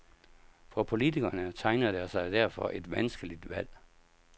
For politikerne tegner der sig derfor et vanskeligt valg.